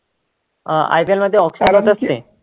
अं IPL मध्ये auction ते